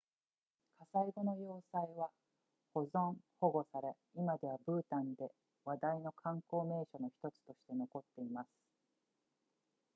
火災後の要塞は保存保護され今ではブータンで話題の観光名所の1つとして残っています